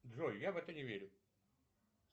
джой я в это не верю